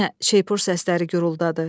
Yenə şeypur səsləri guruldadı.